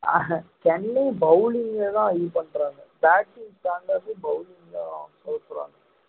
அஹ் Chennai bowling லதான் இது பண்றாங்க batting strong ஆ bowling தான்